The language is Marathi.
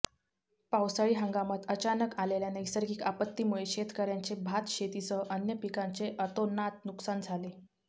पावसाळी हंगामात अचानक आलेल्या नैसर्गिक आपत्तीमुळे शेतकऱयांचे भातशेतीसह अन्य पिकांचे अतोनात नुकसान झाले